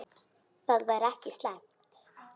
Það væri ekki slæmt.